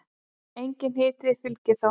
Enginn hiti fylgir þó.